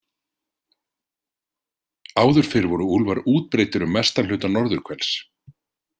Áður fyrr voru úlfar útbreiddir um mestan hluta norðurhvels.